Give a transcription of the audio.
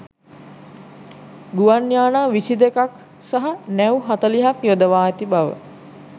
ගුවන් යානා විසි දෙකක් සහ නැව් හතළිහක් යොදවා ඇති බව